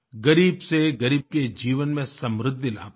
ग़रीबसेग़रीब के जीवन में समृद्धि लाता हो